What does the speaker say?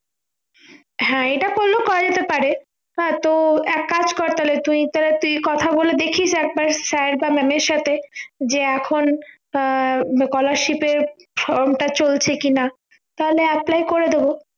হ্যাঁ এইটা করলেও করা যেতে পারে তা তোর এক কাজ কর তাহলে তুই তো তুই কথা বলে দেখিস একবার sir বা mam এর সাথে যে এখন scholarship এর from টা চলছে কিনা তাহলে apply করে দেবো